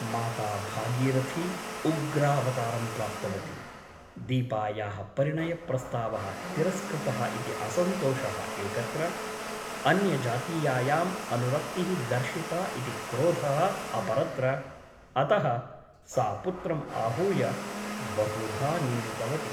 माता भागीरथी उग्रावतारं प्राप्तवती । दीपायाः परिणयप्रस्तावः तिरस्कृतः इति असन्तोषः एकत्र , अन्यजातीयायाम् अनुरक्तिः दर्शिता इति क्रोधः अपरत्र अतः सा पुत्रम् आहूय बहुधा निन्दितवती ।